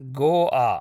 Goa